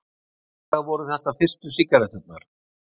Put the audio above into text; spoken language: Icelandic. Hugsanlega voru þetta fyrstu sígaretturnar.